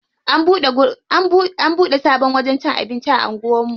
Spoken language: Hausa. An bude sabon wajen cin abinci a anguwan mu.